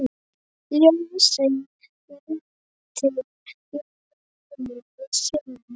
Ljósið veitir mönnum sýn.